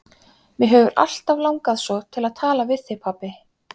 Mig hefur alltaf langað svo til að tala við þig, pabbi.